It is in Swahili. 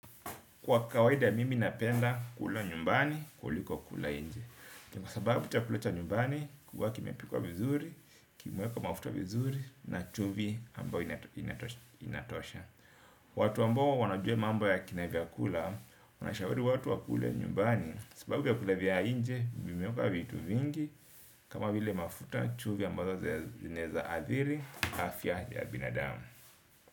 Kwa kawaida mimi napenda kula nyumbani kuliko kula nje. Kwa sababu chakula cha nyumbani huwa kimepikwa vizuri kimewekwa mafuta vizuri na chumvi ambayo inatosha. Watu ambao wanajuq mambo ya kina vyakula tunashauri watu wakule nyumbani. Sababu vyakula vya nje vimewekwa vitu vingi. Kama vile mafuta chumvi ambazo zinaweza athiri afya ya binadamu.